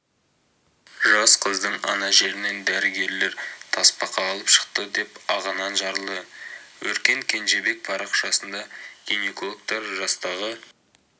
жас қыздың ана жерінен дәрігерлер тасбақа алып шықты деп ағынан жарылды өркен кенжебек парақшасында гинекологтар жастағы